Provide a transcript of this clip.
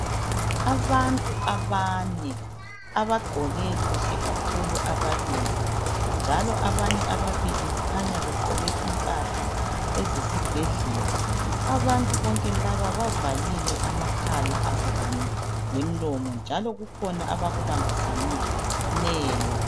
Abantu abane. Abagqoke kuhle kakhulu ababili, njalo abanye ababili kukhanya begqoke impahla ezesibhedlela. Abantu bonke labo bavalile amakhala abo, kanye lemlomo njalo kukhona abakubambisaneyo.